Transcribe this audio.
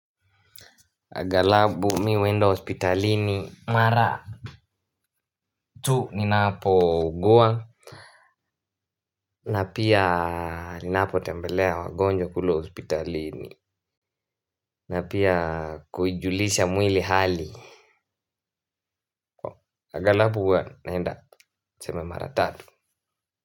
Angalabu mimi huenda hospitalini. Mara tu ninapo ugua na pia ninapo tembelea wagonjwa kule hospitalini. Na pia kujulisha mwili hali. Agalabu huwa naenda naenda tuseme mara tatu.